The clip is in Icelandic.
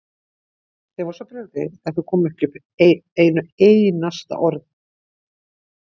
Þeim var svo brugðið að þau komu ekki upp einu einasta orði.